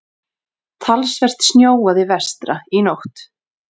Talsvert snjóaði vestra í nótt.